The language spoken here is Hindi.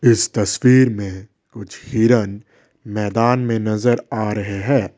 इस तस्वीर में कुछ हिरन मैदान में नजर आ रहे हैं।